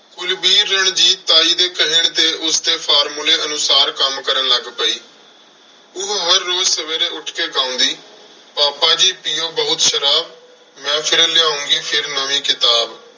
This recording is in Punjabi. ਕੁਲਵੀਰ ਰਣਜੀਤ ਤਾਈ ਦੇ ਕਹਿਣ ਤੇ ਉਸਦੇ formula ਅਨੁਸਾਰ ਕੰਮ ਕਰਨ ਲੱਗ ਪਈ। ਉਹ ਹਰ ਰੋਜ਼ ਸਵੇਰੇ ਉੱਠ ਕੇ ਗਾਉਂਦੀ, ਪਾਪਾ ਜੀ ਪੀਉ ਬਹੁਤ ਸ਼ਰਾਬ, ਮੈਂ ਫਿਰ ਲਿਆਉਂਗੀ ਫਿਰ ਨਵੀਂ ਕਿਤਾਬ।